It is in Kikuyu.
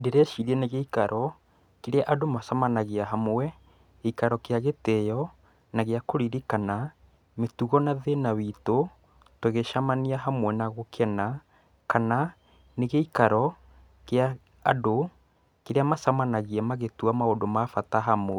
Ndĩreciria nĩ gĩikar,o kĩrĩa andũ macemanagia hamwe, gĩikaro gia gĩtĩyo, na gia kũririkana, mĩtugo na thĩna witũ tũngĩcemania hamwe na gũkena, kana nĩ gĩikaro, kia andũ kĩrĩa macamanagia magĩtua maũndũ ma bata hamwe.